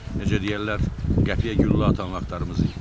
Necə deyərlər, qəpik-quruş atan vaxtlarımız idi.